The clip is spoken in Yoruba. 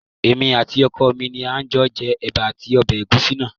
Èmi àti ọkọ mi ni a jọ jẹ ẹ̀bà àti ọbẹ̀ ẹ̀gúsí náà